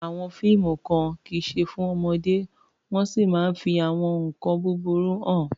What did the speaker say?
Àwọn fíìmù kan kì í ṣe fún ọmọdé wọ́n sì máa ń fi àwọn nkan burúkú hàn.